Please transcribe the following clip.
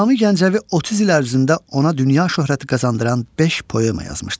Nizami Gəncəvi 30 il ərzində ona dünya şöhrəti qazandıran beş poema yazmışdır.